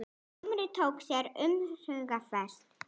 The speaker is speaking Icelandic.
Dómari tók sér umhugsunarfrest